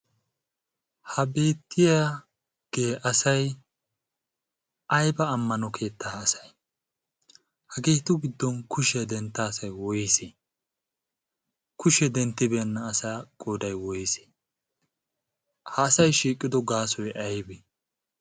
ha beettiyaagee asay ayba ammano keettaa asay hageetu giddon kushiyaa dentta asay woysseekushee denttibeenna asaa goodai woys ha asay shiiqqido gaasoy aybi